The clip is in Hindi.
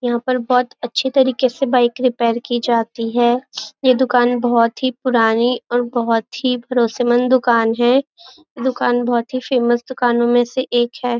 यहाँ पर बहुत अच्छे तरीके से बाइक रिपेयर की जाती है यह दुकान बहुत ही पूरानी और बहुत ही भरोसेमंद दुकान है दूकान बहुत ही फेमस दुखानों में एक दुकान है।